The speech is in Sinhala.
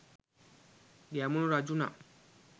ගැමුණු රජු නම්